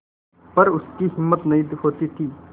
पर उसकी हिम्मत नहीं होती थी